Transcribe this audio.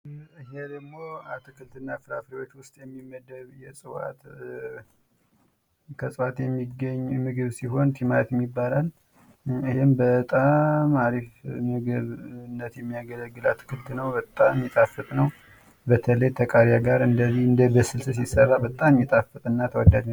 ይሄ ደግሞ አትክልት እና ፍራፍሬዎች ዉስጥ የሚመደብ ከእፅዋት የሚገኝ ምግብ ሲሆን ቲማቲም ይባላል ይሄም በጣም አሪፍ ለምግብነት የሚያገለግል አትክልት ነው በጣም የሚጣፍጥ ነው በተለይ ከቃሪያ ጋር እንደዚ በስልስ ሲሰራ በጣም የሚጣፍጥ እና ተወዳጅ ምግብ ነው::